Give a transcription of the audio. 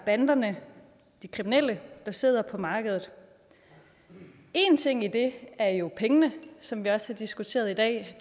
banderne de kriminelle der sidder på markedet en ting i det er jo pengene som vi også har diskuteret i dag det